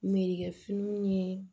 Merekɛ finiw ye